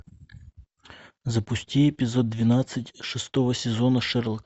запусти эпизод двенадцать шестого сезона шерлок